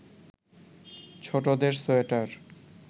ছোটদের সোয়েটার